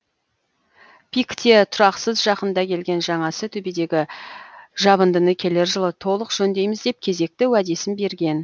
пик те тұрақсыз жақында келген жаңасы төбедегі жабындыны келер жылы толық жөндейміз деп кезекті уәдесін берген